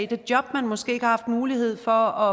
det job man måske ikke har haft mulighed for